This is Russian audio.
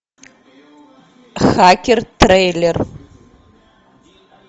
хакер трейлер